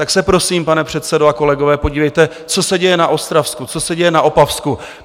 Tak se prosím, pane předsedo a kolegové, podívejte, co se děje na Ostravsku, co se děje na Opavsku.